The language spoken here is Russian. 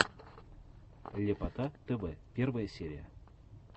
ляпота тв первая серия